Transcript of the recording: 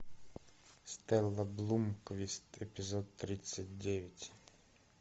стелла блумквист эпизод тридцать девять